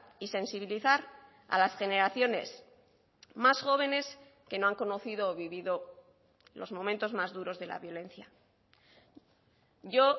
y sensibilizar a las generaciones más jóvenes que no han conocido o vivido los momentos más duros de la violencia yo